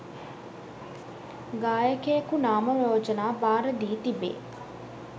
ගායකයෙකු නාම යෝජනා භාර දී තිබේ.